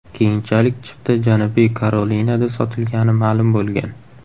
Keyinchalik chipta Janubiy Karolinada sotilgani ma’lum bo‘lgan.